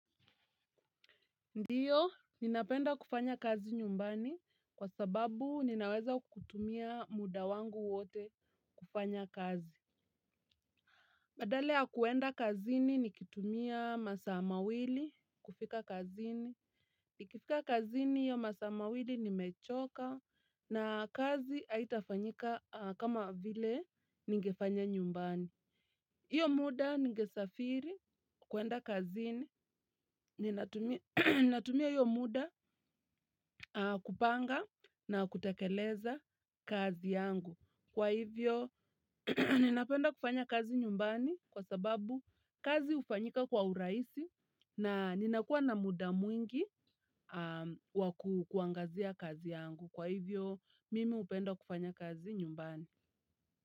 Ndiyo, ninapenda kufanya kazi nyumbani kwa sababu ninaweza kutumia muda wangu wote kufanya kazi. Badala ya kwenda kazini nikitumia masaa mawili kufika kazini. Nikifika kazini hiyo masaa mawili nimechoka na kazi haitafanyika kama vile nigefanya nyumbani. Iyo muda ningesafiri kwenda kazini, ninatumia iyo muda kupanga na kutakeleza kazi yangu. Kwa hivyo, ninapenda kufanya kazi nyumbani kwa sababu kazi ufanyika kwa urahisi na ninakuwa na muda mwingi wakuangazia kazi yangu. Kwa hivyo, mimi upenda kufanya kazi nyumbani.